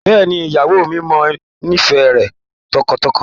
Bẹ́ẹ̀ni ìyàwó mi, mo nífẹ̀ẹ́ rẹ tọkàntọkàn.